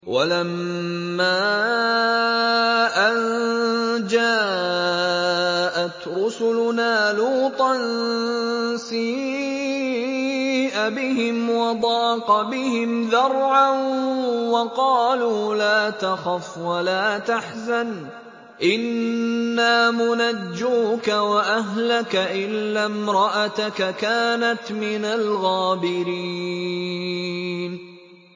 وَلَمَّا أَن جَاءَتْ رُسُلُنَا لُوطًا سِيءَ بِهِمْ وَضَاقَ بِهِمْ ذَرْعًا وَقَالُوا لَا تَخَفْ وَلَا تَحْزَنْ ۖ إِنَّا مُنَجُّوكَ وَأَهْلَكَ إِلَّا امْرَأَتَكَ كَانَتْ مِنَ الْغَابِرِينَ